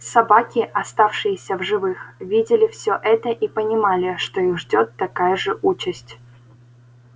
собаки оставшиеся в живых видели все это и понимали что их ждёт такая же участь